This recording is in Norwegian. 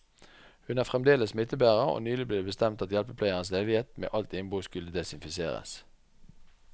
Hun er fremdeles smittebærer, og nylig ble det bestemt at hjelpepleierens leilighet med alt innbo skulle desinfiseres.